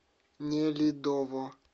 нелидово